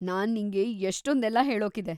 ನಾನ್‌ ನಿಂಗೆ ಎಷ್ಟೊಂದೆಲ್ಲ ಹೇಳೋಕಿದೆ.